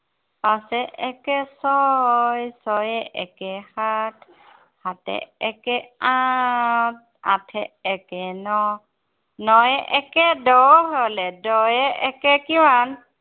পাঁচে একে ছয়, ছয়ে একে সাত, সাতে একে আঠ। আঠে একে ন'। নয়ে একে দহ হলে, দহে একে কিমান?